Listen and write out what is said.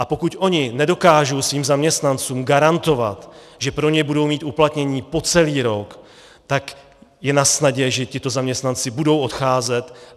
A pokud oni nedokážou svým zaměstnancům garantovat, že pro ně budou mít uplatnění po celý rok, tak je nasnadě, že tito zaměstnanci budou odcházet.